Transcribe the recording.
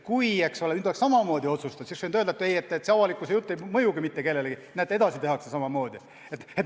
Kui oleks samamoodi otsustatud, siis oleks võidud öelda, et avalikkuse arvamus ei mõju mitte kellelegi, näete, et ikka otsustatakse samamoodi.